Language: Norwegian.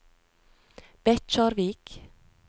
Bekkjarvik